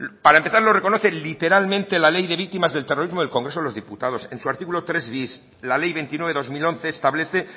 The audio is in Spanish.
para empezar lo reconoce literalmente la ley de víctimas del terrorismo del congreso de los diputados en su artículo tres bis la ley veintinueve barra dos mil once establece